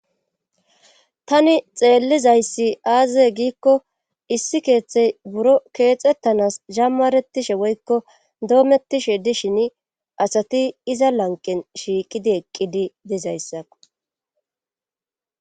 Tani xeellizayssi aaze giikko issi keeththey buro keexettanas jammaretishe woykko doomettishe dishin asati iza lanqen shiiqidi eqqidi dizayssa.